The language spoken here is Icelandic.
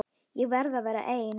Ég verð að vera ein.